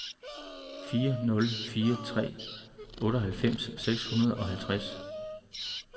fire nul fire tre otteoghalvfems seks hundrede og halvtreds